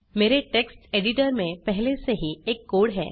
मेरे text editor में पहले से ही एक कोड है